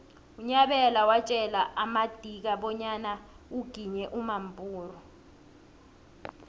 unyabela watjela amadika bonyana uginye umampuru